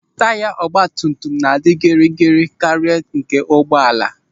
Taya ọgbatumtum na-adị gịrịgịrị karịa nke ụgbọala.